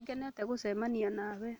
Nĩ ngenete gũcemania nawe